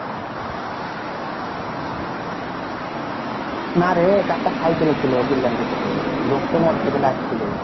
না রে কাকা cycle এ ছিল বললাম যে তোকে লোক টো motorcycle এ আসছিল.